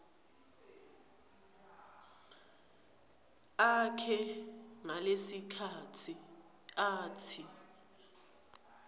akhe ngalesikhatsi atsi